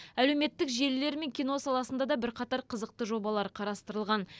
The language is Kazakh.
әлеуметтік желілер мен кино саласында да бірқатар қызықты жобалар қарастырылған